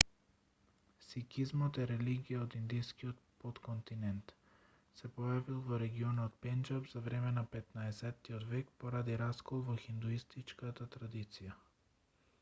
сикизмот е религија од индискиот потконтинент се појавил во регионот пенџаб за време на 15-тиот век поради раскол во хиндуистичката традиција